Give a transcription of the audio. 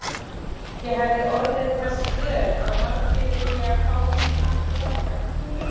Ég hefi orðið þess vör að margir vilja fá mig aftur þangað.